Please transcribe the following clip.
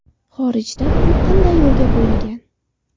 Xorijda bu qanday yo‘lga qo‘yilgan?